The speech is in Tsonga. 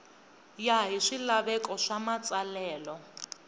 ya hi swilaveko swa matsalelo